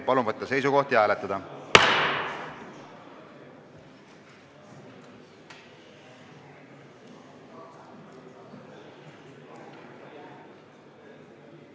Palun võtta seisukoht ja hääletada!